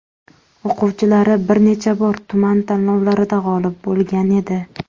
O‘quvchilari bir necha bor tuman tanlovlarida g‘olib bo‘lgan edi.